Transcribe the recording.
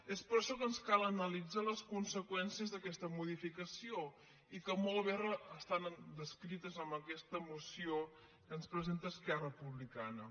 és per això que ens cal analitzar les conseqüències d’aquesta modificació i que molt bé estan descrites en aquesta moció que ens presenta esquerra republica·na